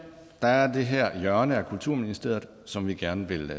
at der er det her hjørne af kulturministeriet som vi gerne vil